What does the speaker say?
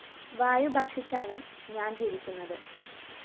വായു ഭക്ഷിച്ചാണ് ഞാന്‍ ജീവിക്കുന്നത്